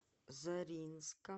заринска